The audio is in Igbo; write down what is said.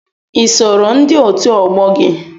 I sooro ndị otu ọgbọ gị?